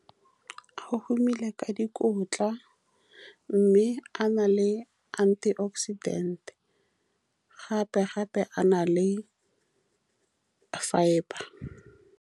A humile ka dikotla, mme a na le antioxidant-e gape-gape a na le fibre.